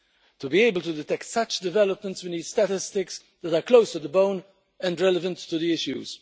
To be able to detect such developments, we need statistics that are close to the bone and relevant to the issues.